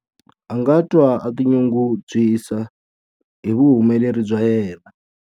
A nga twa a tinyungubyisa hi vuhumeleri bya yena.